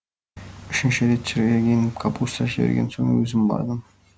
үшінші рет шіріген капуста жіберген соң өзім бардым